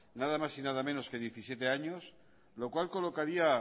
nada más y nada menos que diecisiete años lo cual colocaría